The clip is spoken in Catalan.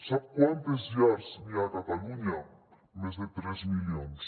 sap quantes llars hi ha a catalunya més de tres milions